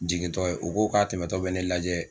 Jigintɔ ye u ko k'a tɛmɛtɔ bɛ ne lajɛ.